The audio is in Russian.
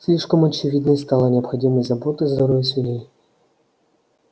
слишком очевидной стала необходимость заботы о здоровье свиней